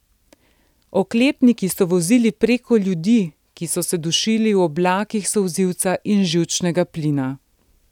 Oklepniki so vozili preko ljudi, ki so se dušili v oblakih solzivca in živčnega plina.